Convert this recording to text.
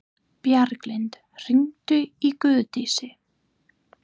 Bjarglind, hringdu í Guðdísi.